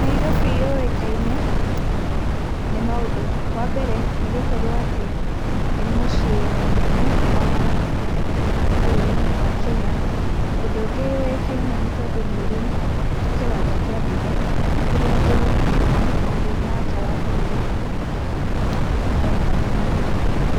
Nairobi yũĩkaine nĩ maũndũ, wa mbere nĩ gũkorwo atĩ nĩ mũciĩ mũnene wa bũrũri wa Kenya , ũndũ ũngĩ ũĩkaine nĩ tondũ nĩ ũrĩ wa kĩwanja kĩa ndege kũrĩa andũ makiuma nja wa bũrũri no mũhaka mathiĩ